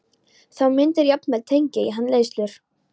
Þú myndir jafnvel tengja í hann leiðslur.